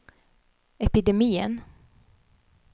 epidemien